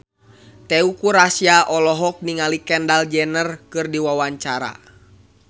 Teuku Rassya olohok ningali Kendall Jenner keur diwawancara